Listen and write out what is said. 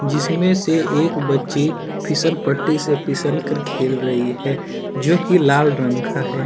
जिस में से एक बच्ची फिसल पट्टी से फिसल कर खेल रही है जो कि लाल रंग का है।